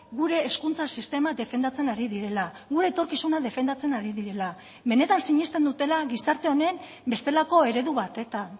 gure hezkuntza sistema defendatzen ari direla gure etorkizuna defendatzen ari direla benetan sinesten dutela gizarte honen bestelako eredu batetan